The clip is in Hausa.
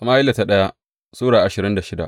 daya Sama’ila Sura ashirin da shida